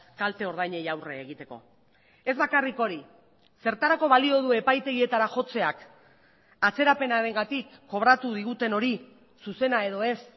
kalte ordainei aurre egiteko ez bakarrik hori zertarako balio du epaitegietara jotzeak atzerapenarengatik kobratu diguten hori zuzena edo ez